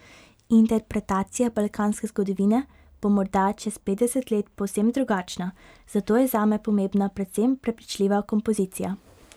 Interpretacija balkanske zgodovine bo morda čez petdeset let povsem drugačna, zato je zame pomembna predvsem prepričljiva kompozicija.